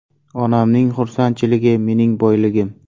Onamning xursandchiligi mening boyligim.